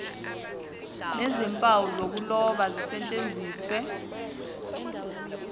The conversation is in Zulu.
nezimpawu zokuloba zisetshenziswe